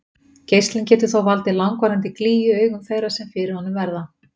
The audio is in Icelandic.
geislinn getur þó valdið langvarandi glýju í augum þeirra sem fyrir honum verða